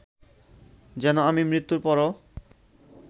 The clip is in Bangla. যেন আমি মৃত্যুর পরও